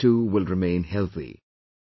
Mothers too will remain healthy